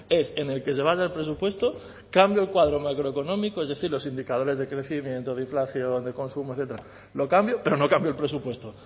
es en el que se basa el presupuesto cambio el cuadro macroeconómico es decir los indicadores de crecimiento de inflación de consumo etcétera lo cambio pero no cambio el presupuesto